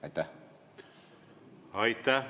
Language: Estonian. Aitäh!